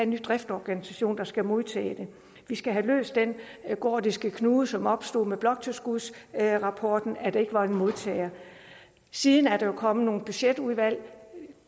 ny driftsorganisation der skal modtage det vi skal have løst den gordiske knude som opstod med bloktilskudsrapporten nemlig at der ikke var en modtager siden er der jo kommet nogle budgetudvalg